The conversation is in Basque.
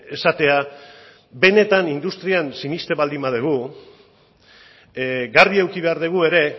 esatea benetan industrian sinesten baldin badugu garbi eduki behar dugu ere